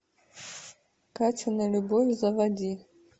катина любовь заводи